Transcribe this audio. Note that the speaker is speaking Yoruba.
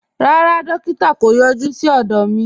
Rárá, dòkítà̀ kò yọ̀jú sí ọdọ mi.